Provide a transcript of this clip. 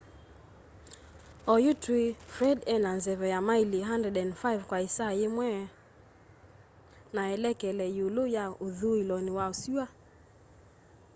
oyu tũĩ fred ena nzeve ya maili 105 kwa ĩsaa yĩmwe 165km/h na elekele yĩũlũ ya ũthũĩlonĩ wa sũa